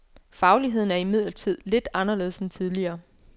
Fagligheden er imidlertid lidt anderledes end tidligere.